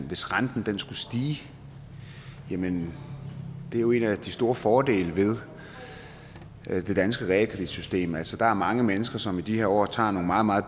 hvis renten skulle stige jamen det er jo en af de store fordele ved det danske realkreditsystem altså der er mange mennesker som i de her år tager nogle meget meget